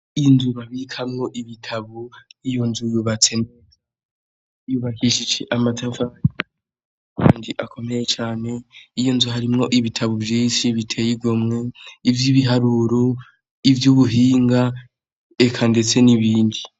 Inzu babikamwo ibitabo, iyo nzu yubatse neza, yubakishijwe n'amatafari akomeye cane, iyo nzu harimwo ibitabo vyinshi biteye igomwe, ivy'ibiharuro, ivy'ubuhinga eka ndetse n'ibindi.